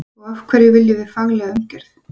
Og af hverju viljum við faglega umgjörð?